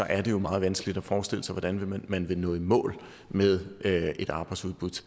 er det jo meget vanskeligt at forestille sig hvordan man vil nå i mål med et arbejdsudbud